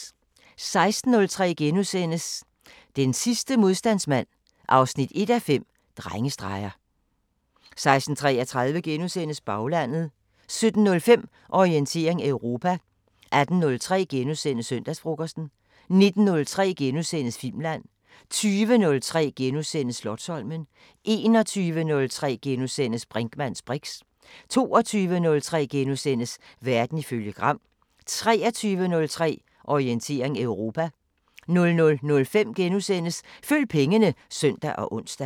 16:03: Den sidste modstandsmand 1:5 – Drengestreger * 16:33: Baglandet * 17:05: Orientering Europa 18:03: Søndagsfrokosten * 19:03: Filmland * 20:03: Slotsholmen * 21:03: Brinkmanns briks * 22:03: Verden ifølge Gram * 23:03: Orientering Europa 00:05: Følg pengene *(søn og ons)